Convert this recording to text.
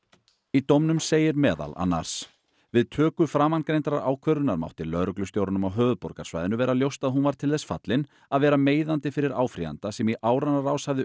í dómnum segir meðal annars við töku framangreindrar ákvörðunar mátti lögreglustjóranum á höfuðborgarsvæðinu vera ljóst að hún var til þess fallin að vera meiðandi fyrir áfrýjanda sem í áranna rás hafði